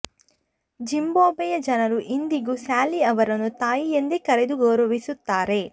ಜಿಂಬಾಬ್ವೆಯ ಜನರು ಇಂದಿಗೂ ಸ್ಯಾಲಿ ಅವರನ್ನು ತಾಯಿ ಎಂದೇ ಕರೆದು ಗೌರವಿಸುತ್ತಾರೆ